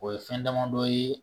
O ye fɛn damadɔ ye